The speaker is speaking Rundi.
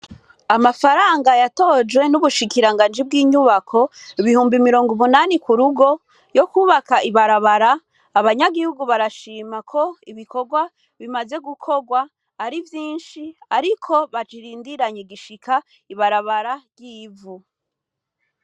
Amafaranga yatojwe n'Ubushikiranganji bw'inyubako, ibihumbi mirongo umunani ku rugo, yo kwubaka ibarabara, abanyagihugu barashima ko ibikorwa bimaze gukorwa ari vyinshi, ariko bakirindiranye igishika ibarabara ry'ivu.